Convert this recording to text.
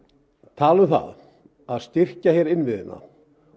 tala um það að styrkja hér innviðina